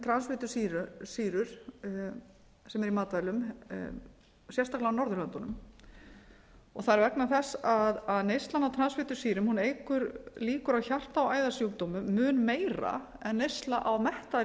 um transfitusýrur sem eru í matvælum sérstaklega á norðurlöndunum það er vegna þess að neyslan á transfitusýrum eykur líkur á hjarta og æðasjúkdómum mun meira en neysla á mettaðri